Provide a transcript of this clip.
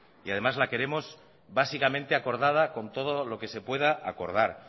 y además la queremos básicamente acordada con todo lo que se pueda acordar